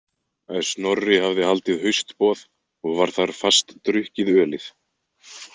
Snorri hafði haldið haustboð og var þar fast drukkið ölið.